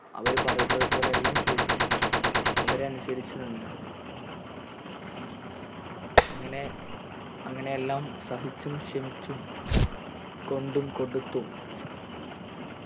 അവര് പറയുന്നതു പോലെയെല്ലാം ചെയ്തു അവരെ അനുസരിച്ചു നിന്നിരുന്നു അങ്ങനെ അങ്ങനെയെല്ലാം സഹിച്ചും ക്ഷമിച്ചും കൊണ്ടും കൊടുത്തും